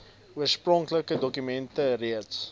oorspronklike dokument reeds